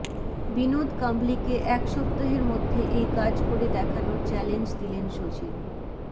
বিনোদ কাম্বলিকে এক সপ্তাহের মধ্যে এই কাজ করে দেখানোর চ্যালেঞ্জ দিলেন সচিন